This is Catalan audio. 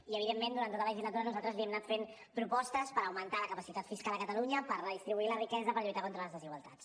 i evidentment durant tota la legislatura nosaltres li hem anat fent propostes per augmentar la capacitat fiscal a catalunya per redistribuir la riquesa per lluitar contra les desigualtats